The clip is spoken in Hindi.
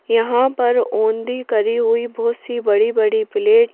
यहां पर ओंदी करी हुई बहुत सी बड़ी-बड़ी प्लेट --